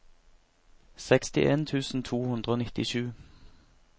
sekstien tusen to hundre og nittisju